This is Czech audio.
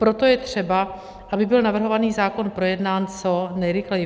Proto je třeba, aby byl navrhovaný zákon projednán co nejrychleji.